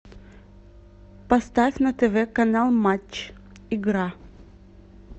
поставь на тв канал матч игра